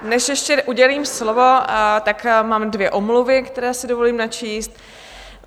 Než ještě udělím slovo, tak mám dvě omluvy, které si dovolím načíst.